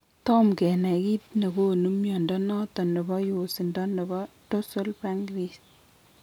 Toma kenai kiit negonu mnyondo noton nebo yosindo nebo dorsal pancrease